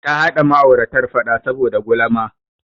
Ta haɗa ma'auratar faɗa saboda gulama.